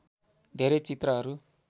धेरै चित्रहरू